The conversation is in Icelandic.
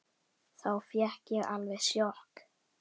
Þá fékk ég alveg sjokk.